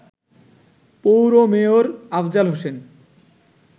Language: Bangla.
পৌর মেয়র আফজাল হোসেন